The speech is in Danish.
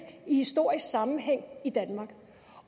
i historisk sammenhæng i danmark